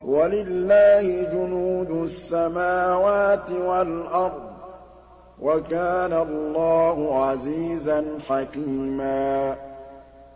وَلِلَّهِ جُنُودُ السَّمَاوَاتِ وَالْأَرْضِ ۚ وَكَانَ اللَّهُ عَزِيزًا حَكِيمًا